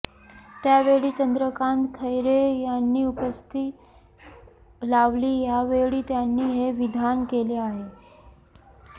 त्यावेळी चंद्रकांत खैरे यांनी उपस्थिती लावली यावेळी त्यांनी हे विधान केले आहे